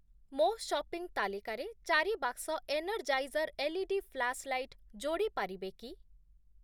ମୋ' ସପିଂ ତାଲିକାରେ ଚାରି ବାକ୍ସ ଏନର୍ଜାଇଜର୍‌ ଏଲ୍‌ଇଡି ଫ୍ଲାସ୍ ଲାଇଟ୍ ଯୋଡ଼ି ପାରିବେ କି?